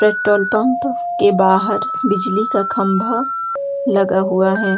Petrol pump के बाहर बिजली का खंभा लगा हुआ है।